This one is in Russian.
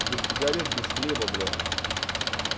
без сигарет без хлеба блять